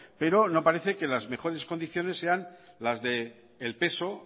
pero no parece que las mejores condiciones sean las del peso